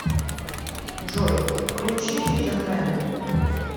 джой включи фидер мена